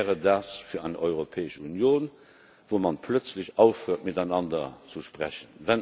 Was wäre das für eine Europäische Union, in der man plötzlich aufhört, miteinander zu sprechen?